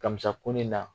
Kamisa ko ne na